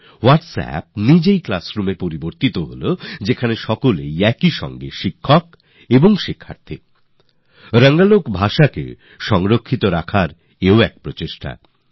এক অর্থে হোটস্যাপ এরclassroom তৈরি হয়ে গেল যেখানে প্রত্যেকেই ছাত্রও আবার শিক্ষকও রঙ্গলোক ভাষাকে রক্ষা করার জন্য এটা একটা চেষ্টা